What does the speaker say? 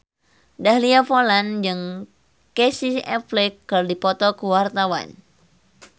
Dahlia Poland jeung Casey Affleck keur dipoto ku wartawan